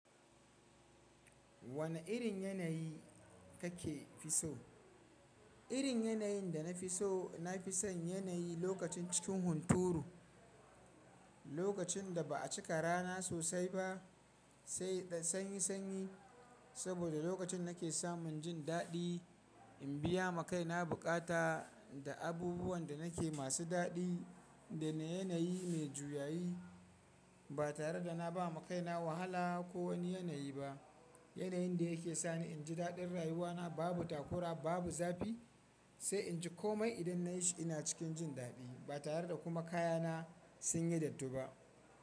Wane irin yanayi kake fi so? Irin yanayin da na fi so na fi son yanayi lokacin cikin hunturu, lokacin da ba a cika rana sosai ba, sanyi sanyi, saboda lokacin na ke samun jin daɗi in biya ma kaina buƙata da abubuwan da na ke masu daɗi da na yanayi mai juyayi ba tare da na ba ma kaina wahala ko wani yanayi ba. Yanayin da ya ke sani in ji daɗin rayuwana babu takura babu zafi sai in ji komai idan na yi shi ina cikin jin daɗi ba tare da kuma kayana sun yi dattu ba.